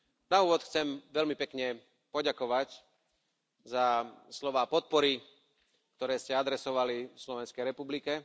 Na úvod chcem veľmi pekne poďakovať za slová podpory, ktoré ste adresovali Slovenskej republike.